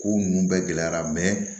Ko nunnu bɛɛ gɛlɛyara